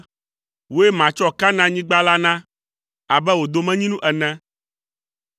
“Wòe matsɔ Kanaanyigba la na, abe wò domenyinu ene.”